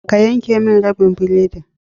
Ka yanke mini rabin biredi